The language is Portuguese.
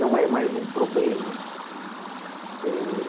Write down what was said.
Não é mais um problema. Eh